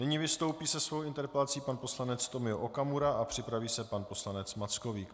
Nyní vystoupí se svou interpelací pan poslanec Tomio Okamura a připraví se pan poslanec Mackovík.